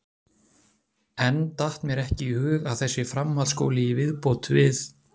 Enn datt mér ekki í hug að þessi framhaldsskóli í viðbót við